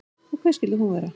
Og hver skyldi hún vera?